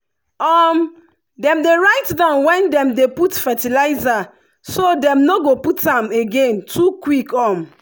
um dem dey write down when dem put fertilizer so dem no go put am again too quick. um